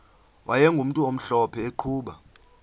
wayegumntu omhlophe eqhuba